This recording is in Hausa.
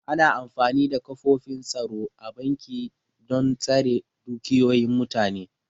Ana amfani da ƙofofin tsaro a banki dan tsare dukiyoyin mutane